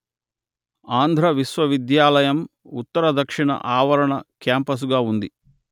ఆంధ్ర విశ్వవిద్యాలయం ఉత్తరదక్షిణ ఆవరణ క్యాంపసుగా ఉంది